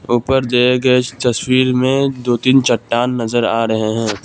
ऊपर दिए गये इस तस्वीर में दो तीन चट्टान नजर आ रहे हैं।